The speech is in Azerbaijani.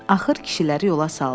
Axır kişiləri yola saldı.